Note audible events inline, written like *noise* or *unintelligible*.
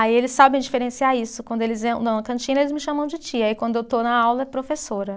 Aí eles sabem diferenciar isso, quando eles *unintelligible* na cantina eles me chamam de tia e quando eu estou na aula é professora.